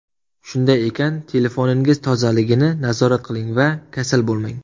Shunday ekan, telefoningiz tozaligini nazorat qiling va kasal bo‘lmang!